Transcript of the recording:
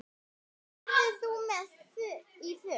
Verður þú með í för?